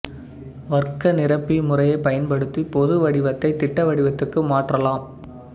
வர்க்க நிரப்பி முறையைப் பயன்படுத்திப் பொது வடிவத்தைத் திட்ட வடிவத்துக்கு மாற்றலாம்